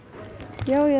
já ég er